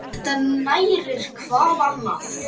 Þetta nærir hvað annað.